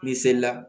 N'i seli la